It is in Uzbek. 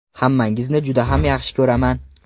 Hammangizni juda ham yaxshi ko‘raman.